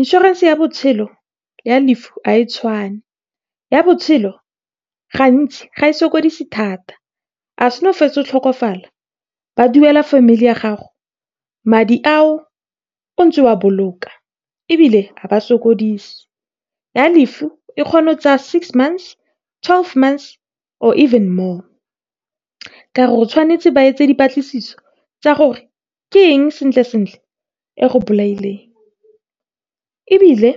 Inšorense ya botshelo le ya lefu ga di tshwane. Ya botshelo gantsi ga e sokodise thata. Ha o fetsa go tlhokofala, ba duela family ya gago madi ao o ntse wa boloka, ebile ga ba sokodise. Ya lefu e kgona go tsaya six months, twelve months, or even more, ka gore ba tshwanetse go dira dipatlisiso tsa gore ke eng sentle-sentle e go bolaileng. Ebile